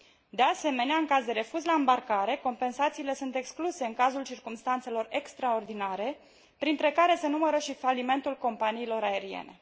De asemenea, în caz de refuz la îmbarcare, compensațiile sunt excluse în cazul circumstanțelor extraordinare, printre care se numără și falimentul companiilor aeriene.